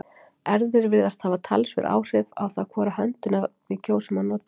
Erfðir virðast hafa talsverð áhrif á það hvora höndina við kjósum að nota.